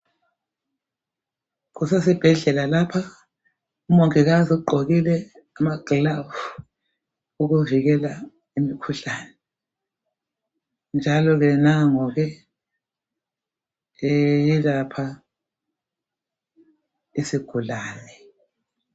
Kusesibhedlela lapha umongikazi ugqokile amagilavu ukuvikela imikhuhlane njalo ke nangu ke eyelapha isigulane.